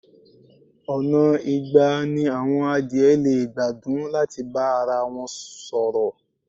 Ọ̀nà igba ni àwọn adìẹ lè gba dún láti bá arawọn sọ̀rọ̀.